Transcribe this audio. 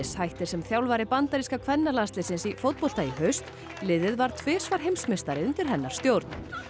hættir sem þjálfari bandaríska kvennalandsliðsins í fótbolta í haust liðið varð tvisvar heimsmeistari undir hennar stjórn